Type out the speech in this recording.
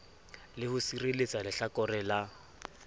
le ho sireletsa lehlakore la